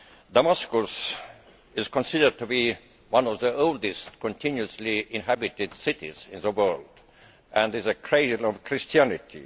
Damascus is considered to be one of the oldest continuously inhabited cities in the world, and is a cradle of Christianity.